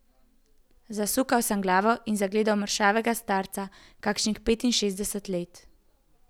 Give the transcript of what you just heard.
Zasukal sem glavo in zagledal mršavega starca kakšnih petinšestdesetih let.